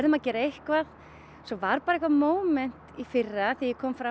að gera eitthvað svo var bara eitthvað í fyrra þegar ég kom fram